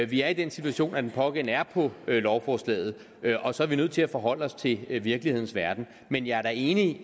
vi er i den situation at den pågældende er på lovforslaget og så er vi nødt til at forholde os til virkelighedens verden men jeg er da enig